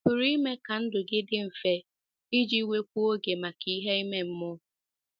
Ị̀ pụrụ ime ka ndụ gị dị mfe iji nwekwuo oge maka ihe ime mmụọ?